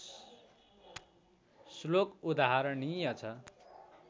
श्लोक उदाहरणीय छ